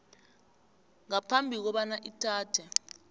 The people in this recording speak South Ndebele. ngaphambi kobana ithathe